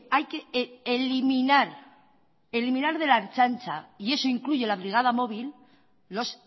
hay eliminar de la ertzaintza y eso incluye la brigada móvil los